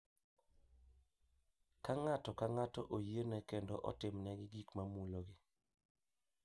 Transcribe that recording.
Ka ng’ato ka ng’ato oyiene kendo otimnegi gik ma mulogi.